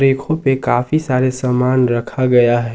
रैको पे काफी सारे सामान रखा गया है।